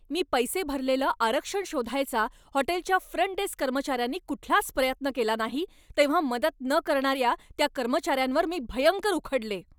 मी पैसे भरलेलं आरक्षण शोधायचा हॉटेलच्या फ्रंट डेस्क कर्मचाऱ्यांनी कुठलाच प्रयत्न केला नाही तेव्हा मदत न करणाऱ्या त्या कर्मचाऱ्यांवर मी भयंकर उखडले.